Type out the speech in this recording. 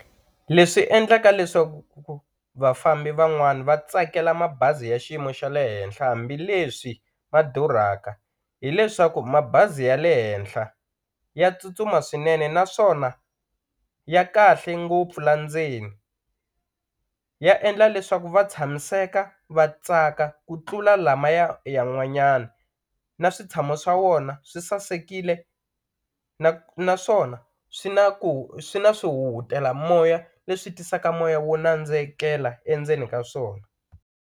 Leswi endlaka leswaku vafambi van'wani va tsakela mabazi ya xiyimo xa le henhla hambileswi ma durhaka, hileswaku mabazi ya le henhla ya tsutsuma swinene naswona ya kahle ngopfu la ndzeni, ya endla leswaku va tshamiseka va tsaka ku tlula lamaya yan'wanyana na switshamo swa wona swi sasekile naswona swi na ku swi na swi huhutela moya leswi tisaka moya wo nandzikela endzeni ka swona.